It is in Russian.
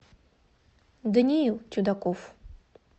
даниил чудаков